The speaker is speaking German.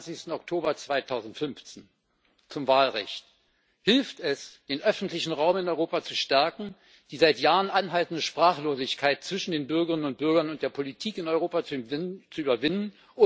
27. Oktober 2015 zum Wahlrecht Hilft es, den öffentlichen Raum in Europa zu stärken, die seit Jahren anhaltende Sprachlosigkeit zwischen den Bürgerinnen und Bürgern und der Politik in Europa zu überwinden?